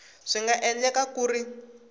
swi nga endleka ku ri